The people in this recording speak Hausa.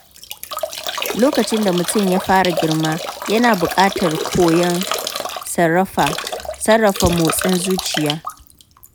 Lokacin da mutum ya fara girma, yana buƙatar koyon sarrafa motsin zuciya.